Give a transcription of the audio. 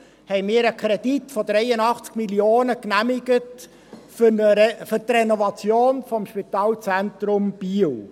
2012 genehmigten wir einen Kredit von 83 Mio. Franken für die Renovation des Spitalzentrums Biel.